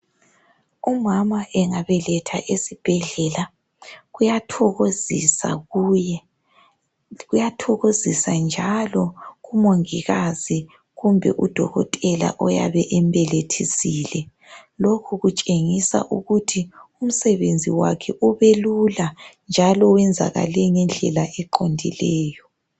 Umama engabeletha esibhedlela kuyathokozisa kuye kuyathokozisa njalo umongikazi kumbe udokotela oyabe embelethisile lokhu kutshengisa ukut umsebenzi wakhe ubelula njalo uyenzakale ngendlela eqondileyo